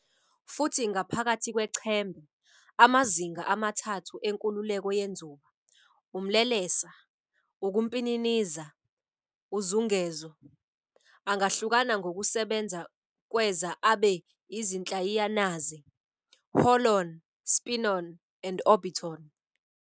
Futhi ngaphakathi kwechembe, amazinga amathathu enkululeko yenzuba, umlelesa, ukumpininiza, uzungezo, angahlukana ngokusebenza kweza abe izinhlayiyanaze, holon, spinon, and orbiton,".